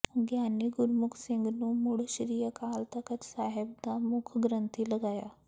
ਗਿਆਨੀ ਗੁਰਮੁਖ ਸਿੰਘ ਨੂੰ ਮੁੜ ਸ੍ਰੀ ਅਕਾਲ ਤਖ਼ਤ ਸਾਹਿਬ ਦਾ ਮੁੱਖ ਗ੍ਰੰਥੀ ਲਗਾਇਆ